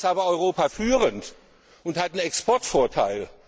Da ist aber Europa führend und hat einen Exportvorteil.